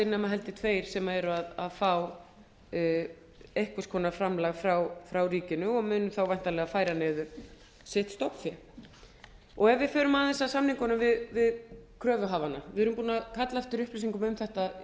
nema held ég tveir sem eru að fá einhvers konar framlag frá ríkinu og mun þá væntanlega færa niður sitt stofnfé ef við förum aðeins að samningunum eftir kröfuhafana við erum búin að kalla eftir upplýsingum um þetta